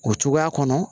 O cogoya kɔnɔ